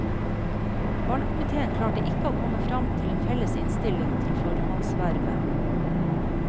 Valgkomiteen klarte ikke å komme fram til en felles innstilling til formannsvervet.